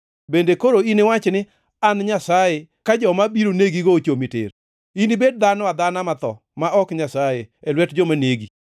Bende koro iniwach ni, “An nyasaye,” ka joma biro negigo ochomi tir? Inibed dhano adhana matho, ma ok nyasaye, e lwet joma negi.